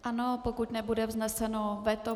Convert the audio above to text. Ano, pokud nebude vzneseno veto.